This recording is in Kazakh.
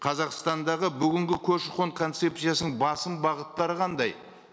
қазақстандағы бүгінгі көші қон концепциясының басым бағыттары қандай